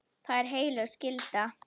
Það er heilög skylda.